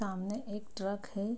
तामने एक ट्रक है।